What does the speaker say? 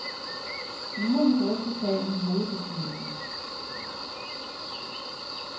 Nu må vi drøfte sagen i hovedbestyrelsen.